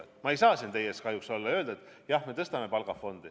Paraku ma ei saa siin teile eeskujuks olla ja öelda, et me tõstame palka.